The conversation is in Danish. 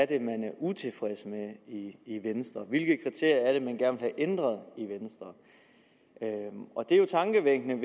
det er man er utilfreds med i venstre hvilke kriterier er det man gerne vil have ændret i venstre det er jo tankevækkende